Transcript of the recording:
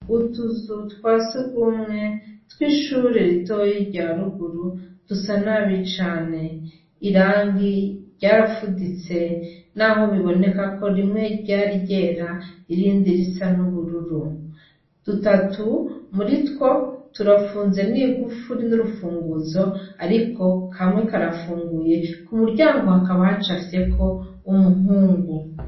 Utuzu twa sugumwe tw'ishuri ritoyi ryaruguru dusa nabi cane irangi ryarafuditse, naho biboneka ko rimwe ryari ryera irindi risa n'ubururu dutatu muri two turafunze n'igufu rin'urufunguzo, ariko kamwe karafunguye ku muryango hakaba haco afiyeko umuhungu.